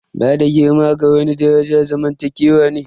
Bada girma ga wani daraja zamantakewa ne.